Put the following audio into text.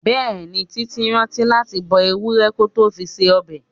Bẹẹni, títí rántí láti gbo Ewúro kó tó fi se ọbẹ̀.